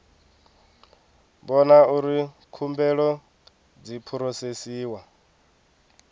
vhona uri khumbelo dzi phurosesiwa